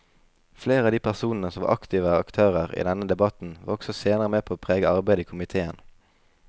Flere av de personene som var aktive aktører i denne debatten var også senere med på å prege arbeidet i komiteen.